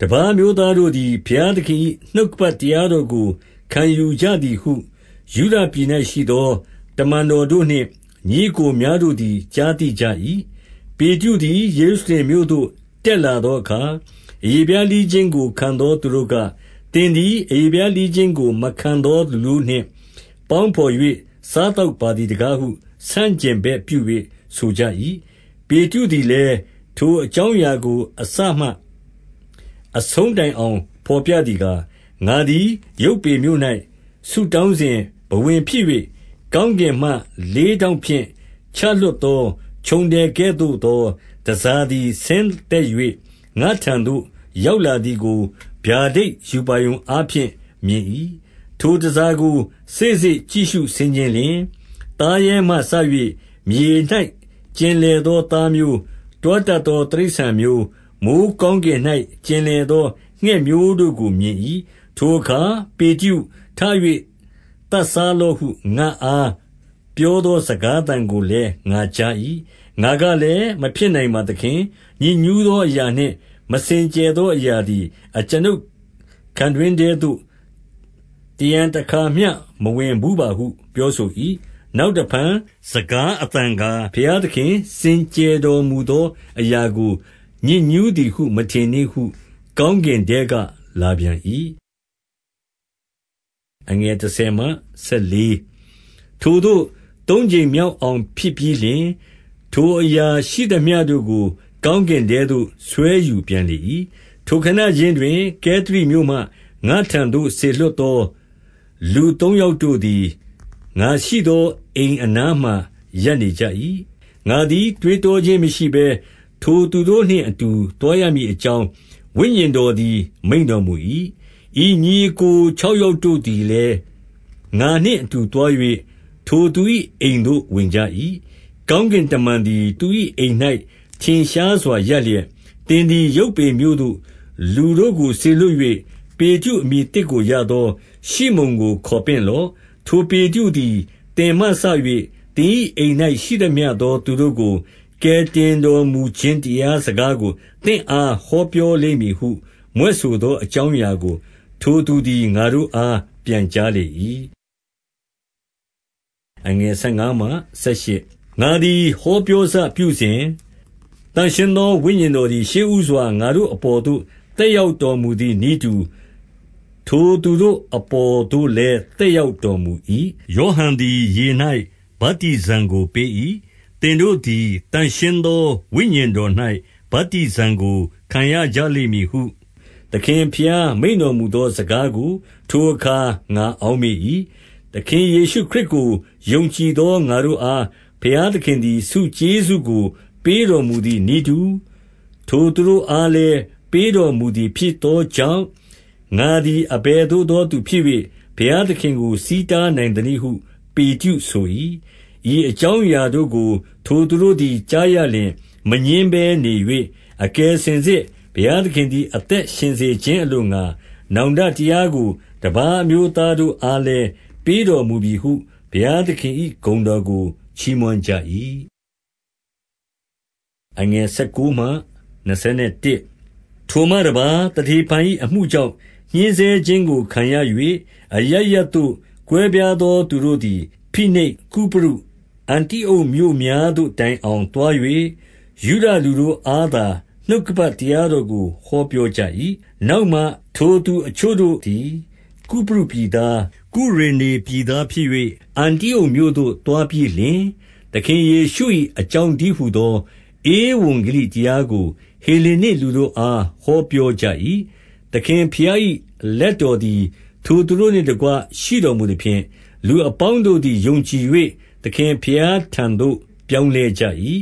တပါးအမျိုးသားတို့သည် ဘုရားသခင်၏ နှုတ်ကပတ်တရားတော်ကို ခံယူကြသည်ဟု ယုဒပြည်၌ ရှိသော တမန်တော်တို့နှင့် ညီအစ် ကိုများတို့သည် ကြားသိကြ၏။ 2 ပေတရုသည် ယေရုရှလင်မြို့သို့ တက်ရောက် လာသောအခါ အရေဖျားလှီးခြင်းကို ခံသောသူတို့က၊ 3 သင်သည် အရေဖျားလှီးခြင်းကို မခံသော လူတို့နှင့် ပေါင်းဘော် ၍ စားသောက်ပါသည်တကားဟု ဆန့်ကျင်ဘက်ပြု၍ဆိုကြ၏။ 4 ပေတရုသည်လည်း၊ ထိုအကြောင်းအရာကို အစမှအဆုံးတိုင် အောင် ဘော်ပြသည်ကား၊ 5 ငါသည်ယုပွေမြို့၌ဆုတောင်းစဉ် ဘဝင်ဖြစ်၍၊ ကောင်းကင်မှ လေးထောင့်ဖြင့် ချလွှတ်သော ခြုံထည် ကဲ့သို့သော တန်ဆာသည် ဆင်းသက်၍၊ ငါ့ထံသို့ ရောက်လာသည်ကို ဗျာဒိတ်ရူပါရုံအားဖြင့် မြင်၏။ 6 ထိုတန်ဆာကို စေ့စေ့ကြည့်ရှုဆင်ခြင်လျှင်၊ သားရဲမှစ၍ မြေ၌ ကျင်လည်သောသားမျိုး၊ တွားတတ် သော တိရစ္ဆာန်မျိုး၊ မိုဃ်းကောင်းကင်၌ ကျင်လည်သော ငှက်မျိုးတို့ကိုမြင်၏။ 7 ထိုအခါ၊ ပေတရု၊ ထ၍ သတ်စားလော့ဟု ငါ့အားပြောသော စကားသံကိုလည်း ငါကြား၏။ 8 ငါကလည်းမဖြစ်နိုင်ပါသခင်။ ညစ်ညူးသော အရာနှင့် မစင်ကြယ်သောအရာသည် အကျွန်ုပ်ခံတွင်းထဲ သို့တရံတခါမျှမဝင်ဘူးပါ ဟုပြောဆို၏။ 9 နောက်တဖန် စကားသံကား၊ ဘုရားသခင်စင် ကြယ်စေတော် မူသောအရာကို ညစ်ညူးသည်မထင်နှင့်ဟု ကောင်းကင်ထဲကလာပြန်၏။ 10 ထိုသို့သုံးကြိမ်မြောက်အောင် ဖြစ်ပြီးလျှင်၊ ထိုအရာရှိသမျှတို့ကို ကောင်းကင်ထဲသို့ဆွဲယူပြန်လေ၏။ 11 ထိုခဏခြင်းတွင် ကဲသရိမြို့မှ ငါ့ထံသို့စေလွှတ် သော လူသုံးယောက်တို့သည် ငါရှိသောအိမ်အနားမှာ ရပ်နေကြ၏။ 12 ငါသည်တွေးတောခြင်းမရှိဘဲ ထိုသူတို့နှင့်အတူ သွားရမည် အကြောင်းဝိညာဉ်တော်သည် မိန့်တော်မူ၏။ ဤညီအစ်ကို ခြောက်ယောက်တို့သည်လည်း ငါနှင့် အတူသွား၍ ထိုသူ၏အိမ်သို့ ဝင်ကြ၏။ 13 ကောင်းကင်တမန်သည် သူ၏အိမ်၌ ထင်ရှား စွာရပ်လျက်၊ သင်သည်ယုပွေမြို့သို့ လူတို့ကိုစေလွှတ်၍ ပေတရု အမည်သစ်ကိုရသော ရှိမုန်ကို ခေါ်ပင့်လော့။ 14 ထိုပေတရုသည် သင်မှစ၍ သင်၏ အိမ်၌ ရှိသမျှသော သူတို့ကို ကယ်တင်တော်မူခြင်း တရားစကား ကို သင့်အားဟောပြောလိမ့်မည်ဟု မြွက်ဆိုခဲ့သော အကြောင်းအရာကို ထိုသူသည် ငါတို့အားပြန်ကြား လေ၏။ 15 ငါသည်ဟောပြောစပြုစဉ်၊ သန့်ရှင်းသော ဝိညာဉ်တော်သည် ရှေ့ဦးစွာ ငါတို့အပေါ်သို့ သက် ရောက်တော်မူသည်နည်းတူ၊ ထိုသူတို့ အပေါ်သို့လည်း သက်ရောက်တော်မူ၏။ 16 ယောဟန်သည် ရေ၌ဗတ္တိဇံကိုပေး၏။ သင်တို့ သည် သန့်ရှင်းသော ဝိညာဉ်တော်၌ ဗတ္တိဇံကို ခံရကြလိမ့် မည်ဟု သခင်ဘုရား မိန့်တော်မူသော စကားကို ထိုအခါ ငါအောက်မေ့၏။ 17 သခင်ယေရှုခရစ်ကို ယုံကြည်သောငါတို့အား ဘုရားသခင်သည် ဆုကျေးဇူးကို ပေးတော်မူသည် နည်းတူ၊ ထိုသူတို့အားလည်း ပေးတော်မူသည်ဖြစ်သောကြောင့်၊ ငါသည်အဘယ်သို့သောသူဖြစ်၍ ဘုရားသခင်ကို ဆီးတားနိုင်သနည်းဟု ပေတရုဆို၏။ 18 ဤအကြောင်းအရာတို့ကို ထိုသူတို့သည် ကြားရလျှင် မငြင်းဘဲ နေ၍၊ အကယ်စင်စစ် ဘုရား သခင်သည် အသက်ရှင်စေခြင်းအလိုငှါ၊ နောင်တ တရားကို တပါးအမျိုးသားတို့အားလည်းပေးတော်မူပြီဟု ဘုရားသခင်၏ ဂုဏ်တော်ကိုချီးမွမ်းကြ၏။ 19 ထိုမှတပါး၊ သတေဖန်၏အမှုကြောင့် ညှဉ်းဆဲခြင်းကိုခံရ၍ အရပ်ရပ်သို့ ကွဲပြားသောသူတို့သည် ဖိနိတ်၊ ကုပရု၊ အန္တိအုတ်မြို့များသို့ တိုင်အောင်သွား၍၊ ယုဒ လူတို့အားသာ နှုတ်ကပတ်တရားတော်ကို ဟောပြောကြ၏။ 20 နောက်မှထိုသူအချို့တို့သည် ကုပရုပြည်သား၊ ကုရေနေပြည်သားဖြစ်၍ အန္တိအုတ်သို့သွားပြီးလျှင်၊ သခင်ယေရှု၏ အကြောင်းတည်းဟူသော ဧဝံဂေလိတရားကို ဟေလေနစ်လူတို့အား ဟောပြောကြ၏။ 21 သခင်ဘုရား၏လက်ထောက်တော်သည် လူတို့နှင့်တကွ ရှိတော်မူသဖြင့်၊ လူအပေါင်းတို့သည် ယုံကြည်၍ သခင်ဘုရားထံသို့ ပြောင်းလဲကြ၏။